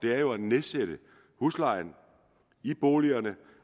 er jo at nedsætte huslejen i boligerne